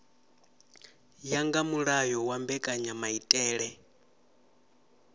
ya nga mulayo wa mbekanyamaitele